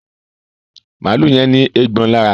Maalu yén ní Eégbọn lára